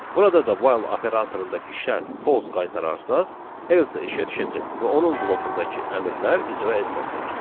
Burada da while operatorundakı şərt false qaytararsa, else işə düşəcək və onun blokundakı əmrlər icra ediləcək.